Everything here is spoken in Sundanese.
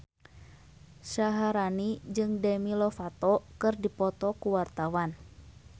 Syaharani jeung Demi Lovato keur dipoto ku wartawan